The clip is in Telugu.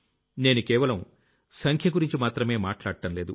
నేను కేవలం సంఖ్య గురించి మాత్రమే మాట్లాడ్డం లేదు